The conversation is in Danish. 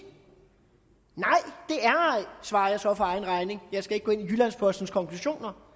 ej svarer jeg så for egen regning jeg skal ikke gå ind i jyllands postens konklusioner